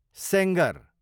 Sengar